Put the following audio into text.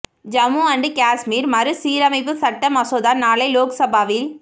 Jammu and Kashmir மறுசீரமைப்பு சட்ட மசோதா நாளை லோக் சபாவில்